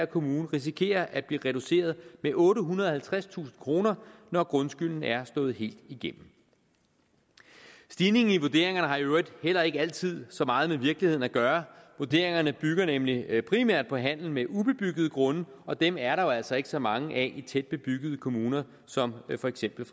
kommune risikerer at blive reduceret med ottehundrede og halvtredstusind kroner når grundskylden er slået helt igennem stigningen i vurderingerne har i øvrigt heller ikke altid så meget med virkeligheden at gøre vurderingerne bygger nemlig primært på handel med ubebyggede grunde og dem er der jo altså ikke så mange af i tæt bebyggede kommuner som for eksempel